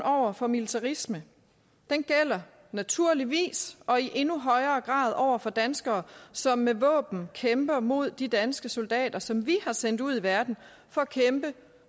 over for militarisme gælder naturligvis og i endnu højere grad over for danskere som med våben kæmper mod de danske soldater som vi har sendt ud i verden for at kæmpe